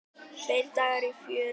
Tveir dagar af fjöri.